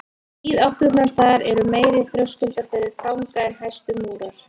Víðátturnar þar eru meiri þröskuldur fyrir fanga en hæstu múrar.